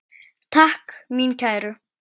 Takk mín kæru.